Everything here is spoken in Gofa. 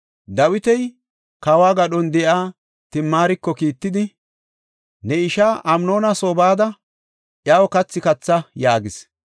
Dawiti, kawo gadhon de7iya Timaariko kiittidi, “Ne ishaa Amnoona soo bada iyaw kathi katha” yaagis.